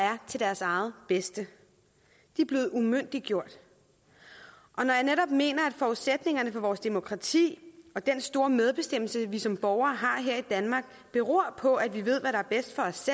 er til deres eget bedste de er blevet umyndiggjort når jeg netop mener at forudsætningerne for vores demokrati og den store medbestemmelse vi som borgere har her i danmark beror på at vi ved hvad der er bedst for os